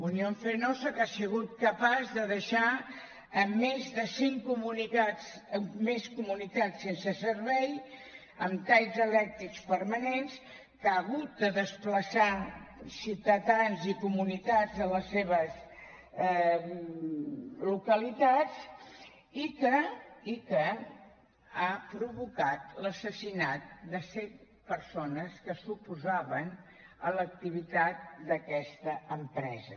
unión fenosa que ha sigut capaç de deixar a més de cent comunitats sense servei amb talls elèctrics permanents que ha hagut de desplaçar ciutadans i comunitats a les seves localitats i que ha provocat l’assassinat de set persones que s’oposaven a l’activitat d’aquesta empresa